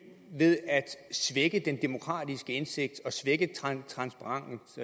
svække den demokratiske indsigt og transparens